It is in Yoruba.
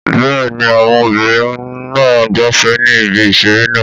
Bẹ́ẹ̀ni, àwọn obìnrin náà ń gbafẹ́ ní ibi ìseré náà